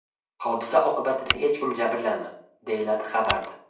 Hodisa oqibatida hech kim jabrlanmadi”, deyiladi xabarda.